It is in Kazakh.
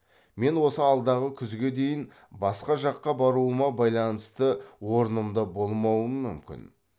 мен осы алдағы күзге дейін басқа жаққа баруыма байланысты орнымда болмауым мүмкін